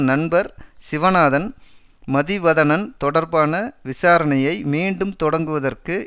நண்பர் சிவநாதன் மதிவதனன் தொடர்பான விசாரசணையை மீண்டும் தொடங்குவதற்கு